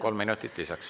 Kolm minutit lisaks.